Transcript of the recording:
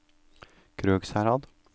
Krødsherad